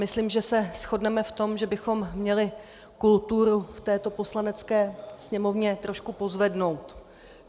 Myslím, že se shodneme v tom, že bychom měli kulturu v této Poslanecké sněmovně trošku pozvednout.